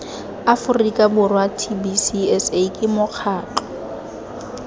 aforika borwa tbcsa ke mokgatlo